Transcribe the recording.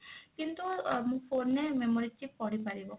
କିନ୍ତୁ phone ରେ memory chip ପଡ଼ିପାରିବ